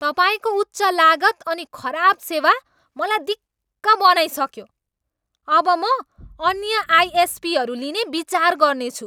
तपाईँको उच्च लागत अनि खराब सेवा मलाई दिक्क बनाइसक्यो। अब म अन्य आइएसपीहरू लिने विचार गर्नेछु।